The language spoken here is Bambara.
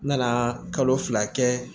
N nana kalo fila kɛ